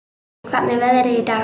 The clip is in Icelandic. Hvernig er veðrið í dag?